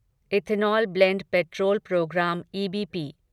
ethanol blend petrol programme EBP